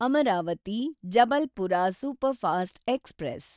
Amaravati Jabalpur superfast express